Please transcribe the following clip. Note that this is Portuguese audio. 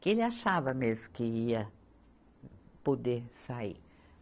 que ele achava mesmo que ia poder sair.